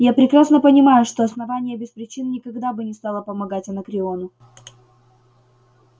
я прекрасно понимаю что основание без причин никогда бы не стало помогать анакреону